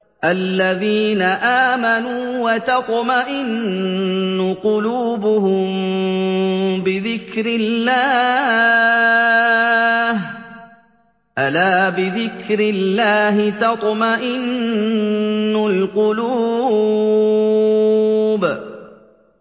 الَّذِينَ آمَنُوا وَتَطْمَئِنُّ قُلُوبُهُم بِذِكْرِ اللَّهِ ۗ أَلَا بِذِكْرِ اللَّهِ تَطْمَئِنُّ الْقُلُوبُ